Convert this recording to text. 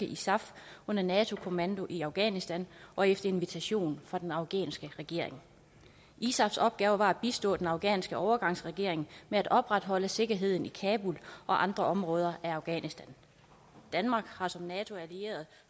isaf under nato kommando i afghanistan og efter invitation fra den afghanske regering isafs opgave var at bistå den afghanske overgangsregering med at opretholde sikkerheden i kabul og andre områder af afghanistan danmark har som nato allieret